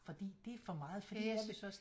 Fordi det er for meget fordi jeg vil